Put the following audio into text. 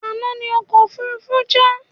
Àna ní ọkọ òfurufú já